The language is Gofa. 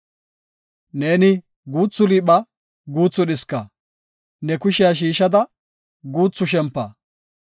Neeni guuthu liipha; guuthu dhiska; ne kushiya shiishada guuthu shempa.